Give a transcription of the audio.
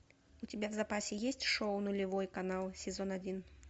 у тебя в запасе есть шоу нулевой канал сезон один